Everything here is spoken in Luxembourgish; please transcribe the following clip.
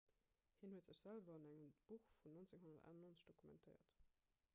hien huet sech selwer an engem buch vun 1998 dokumentéiert